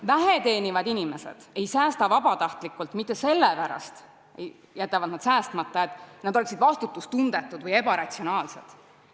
Vähe teenivad inimesed ei säästa vabatahtlikult või ei jäta päris säästmata sellepärast, et nad on vastutustundetud või ebaratsionaalsed.